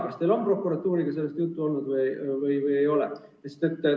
Kas teil on sellest prokuratuuriga juttu olnud või ei ole?